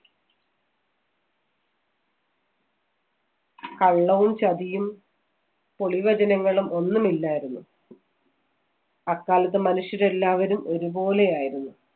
കള്ളവും, ചതിയും, പൊളിവചനങ്ങളും ഒന്നുമില്ലായിരുന്നു. അക്കാലത്ത് മനുഷ്യരെല്ലാവരും ഒരുപോലെയായിരുന്നു.